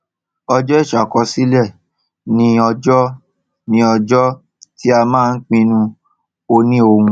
ọjọ ìṣàkọsílẹ ni ọjọ ni ọjọ tí a máa pinnu òniohun